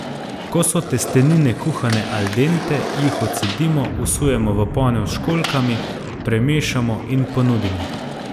Ko so testenine kuhane al dente, jih odcedimo, vsujemo v ponev s školjkami, premešamo in ponudimo.